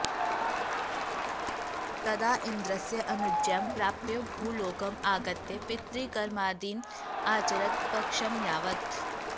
तदा इन्द्रस्य अनुज्ञां प्राप्य भूलोकम् आगत्य पितृकर्मादिइन् आचरत् पक्षं यावत्